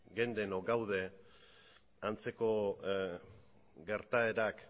geunden edo gaude antzeko gertaerak